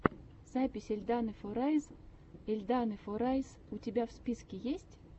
запись эльданы форайз эльданы форайс у тебя в списке есть